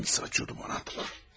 Hangisi açıyordu bana atlar?